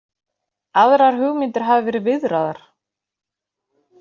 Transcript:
Aðrar hugmyndir hafa verið viðraðar